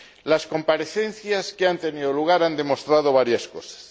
Las comparecencias que han tenido lugar han demostrado varias cosas.